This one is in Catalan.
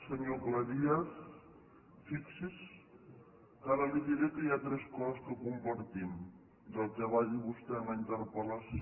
senyor cleries fixi’s que ara li diré que hi ha tres coses que compartim del que va dir vostè en la interpellació